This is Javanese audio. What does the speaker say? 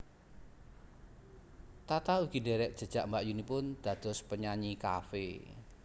Tata ugi ndherek jejak mbakyunipun dados penyanyi cafe